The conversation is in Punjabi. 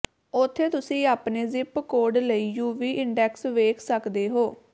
ਉੱਥੇ ਤੁਸੀਂ ਆਪਣੇ ਜ਼ਿਪ ਕੋਡ ਲਈ ਯੂਵੀ ਇੰਡੈਕਸ ਵੇਖ ਸਕਦੇ ਹੋ